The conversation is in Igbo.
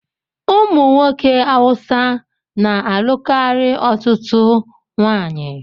Ụmụ nwoke Awụsa na-alụ karịa otú nwanyị.